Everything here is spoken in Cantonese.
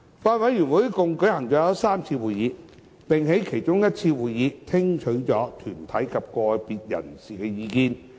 法案委員會一共舉行了3次會議，並在其中一次會議聽取了團體及個別人士的意見。